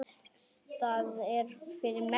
Það er fyrir mestu.